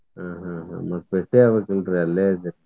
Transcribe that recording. ಹ್ಮ್ ಹ್ಮ್ ಹ್ಮ್ ಮತ್ತ್ ಭೇಟಿ ಆಗ್ಬೇಕಿಲ್ರಿ ಅಲ್ಲೇ ಇದ್ರಿ.